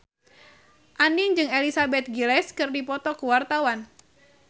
Andien jeung Elizabeth Gillies keur dipoto ku wartawan